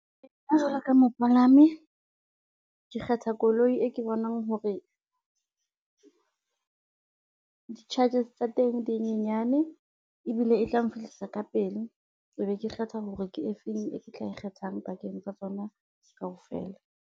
Nna jwalo ka mopalami, ke kgetha koloi e ke bonang hore di-charges tsa teng di nyenyane ebile etla nfihlisa ka pele, ebe ke kgetha hore ke efeng e ke tla e kgethang pakeng tsa tsona kaofela.